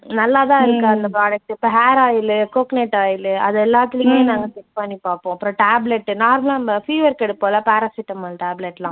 நல்லாதான் இருக்கா அந்த product உ இப்ப hair oil உ coconut oil உ அது எல்லாத்ததுலேயும் நாங்க test பண்ணி பார்ப்போம். அப்புறம் tablet உ normal லா நம்ம fever க்கு எடுப்போமில்ல பாராசிட்டமால் tablet லாம்